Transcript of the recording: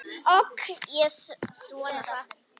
Ók ég svona hratt?